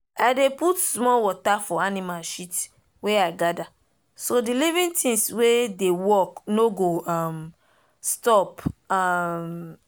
i dey put small water for animal shit wey i gather so the living things wey dey work no go um stop. um